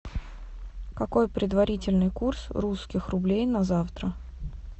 какой предварительный курс русских рублей на завтра